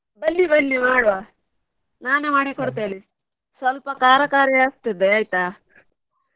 ಬನ್ನಿ ಬನ್ನಿ ಮಾಡುವ ನಾನೆ ಮಾಡಿ ಕೊಡ್ತೇನೆ ಸ್ವಲ್ಪ ಖಾರ ಖಾರಿ ಆಗ್ತದೆ ಆಯ್ತಾ?